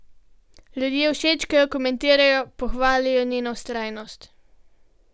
Ljudje všečkajo, komentirajo, pohvalijo njeno vztrajnost.